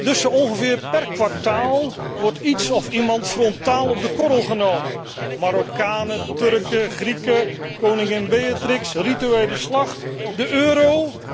Dus zo ongeveer per kwartaal wordt iets of iemand frontaal op de korrel genomen Marokkanen, Turken, Grieken, koningin Beatrix, rituele slacht, de euro.